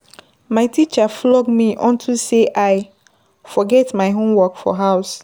My teacher flog me unto say I forget my Homework for house.